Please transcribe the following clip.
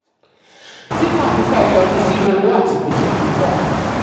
títà púpọ̀ yọrí sí owó àti gbèsè púpọ̀.